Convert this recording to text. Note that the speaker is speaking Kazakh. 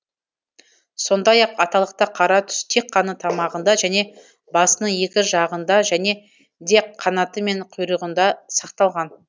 сондай ақ аталықта қара түс тек қана тамағында және басының екі жағында және де қанаты мен құйрығында сақталған